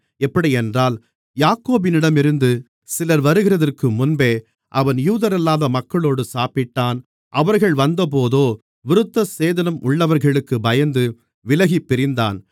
எப்படியென்றால் யாக்கோபினிடமிருந்து சிலர் வருகிறதற்கு முன்பே அவன் யூதரல்லாத மக்களோடு சாப்பிட்டான் அவர்கள் வந்தபோதோ விருத்தசேதனம் உள்ளவர்களுக்குப் பயந்து விலகிப் பிரிந்தான்